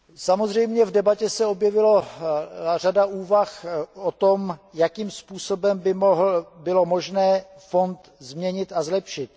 Samozřejmě v debatě se objevila řada úvah o tom, jakým způsobem by bylo možné fond změnit a zlepšit.